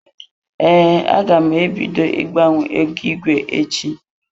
Ee, aga m e bido gbanwewa ego igwe echi.